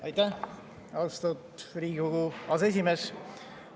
Aitäh, austatud Riigikogu aseesimees!